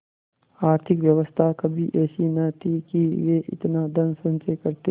आर्थिक व्यवस्था कभी ऐसी न थी कि वे इतना धनसंचय करते